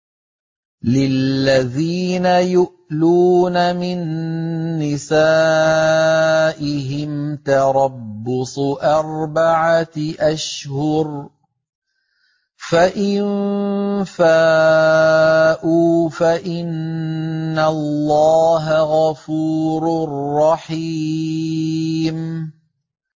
لِّلَّذِينَ يُؤْلُونَ مِن نِّسَائِهِمْ تَرَبُّصُ أَرْبَعَةِ أَشْهُرٍ ۖ فَإِن فَاءُوا فَإِنَّ اللَّهَ غَفُورٌ رَّحِيمٌ